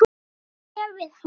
Hvað sé við hæfi.